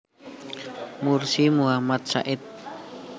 Mursi Muhammad Said